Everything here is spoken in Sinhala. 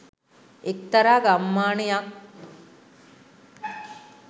එක්තරා ගම්මානයක්